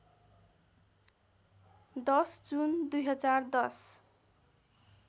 १० June २०१०